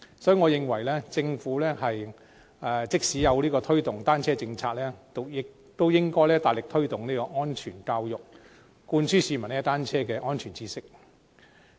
所以，即使政府推動單車友善政策，我認為也應該大力推動安全教育，灌輸市民踏單車的安全知識。